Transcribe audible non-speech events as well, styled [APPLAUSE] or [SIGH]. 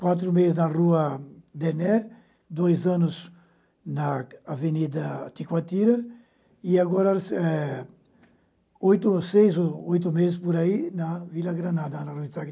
Quatro meses na Rua Dené, dois anos na Avenida Ticuatira e agora eh oito seis ou oito meses por aí na Vila Granada, na [UNINTELLIGIBLE]